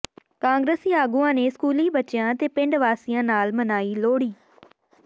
ਕਾਂਗਰਸੀ ਆਗੂਆਂ ਨੇ ਸਕੂਲੀ ਬੱਚਿਆਂ ਤੇ ਪਿੰਡ ਵਾਸੀਆਂ ਨਾਲ ਮਨਾਈ ਲੋਹੜੀ